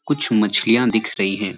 कुछ मछलियाँ दिख रही हैं।